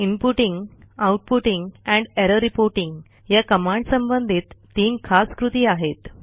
inputting outputting and error reporting या कमांडसंबंधित तीन खास कृती आहेत